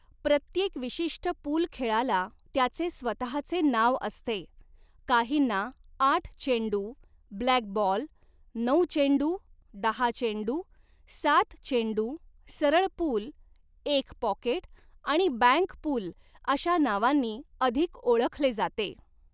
प्रत्येक विशिष्ट पूल खेळाला त्याचे स्वहाचे नाव असते, काहींना आठ चेंडू, ब्लॅकबॉल, नऊ चेंडू, दहा चेंडू, सात चेंडू, सरळ पूल, एक पॉकेट आणि बँक पूल अशा नावांनी अधिक ओळखले जाते.